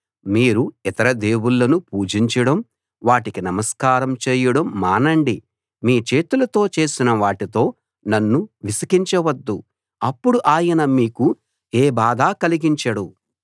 మీరు ఇతర దేవుళ్ళను పూజించడం వాటికి నమస్కారం చేయడం మానండి మీ చేతులతో చేసిన వాటితో నన్ను విసికించవద్దు అప్పుడు ఆయన మీకు ఏ బాధా కలిగించడు